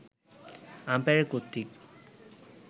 umpire কর্তৃক